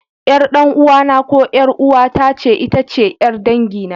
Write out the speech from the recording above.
Ƴar ɗan'uwana ko ƴar'uwata ce itace ƴar dangina.